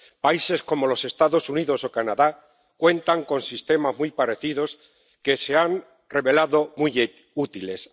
Países como los Estados Unidos o Canadá cuentan con sistemas muy parecidos, que se han revelado muy útiles.